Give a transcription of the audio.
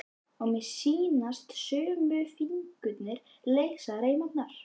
Og mér sýnast sömu fingurnir leysa reimarnar.